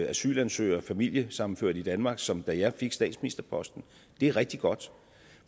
asylansøgere og familiesammenførte i danmark som da jeg fik statsministerposten det er rigtig godt